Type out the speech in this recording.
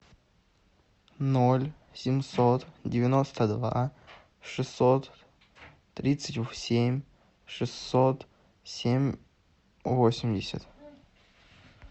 ноль семьсот девяносто два шестьсот тридцать семь шестьсот семь восемьдесят